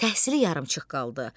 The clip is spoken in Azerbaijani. Təhsili yarımçıq qaldı.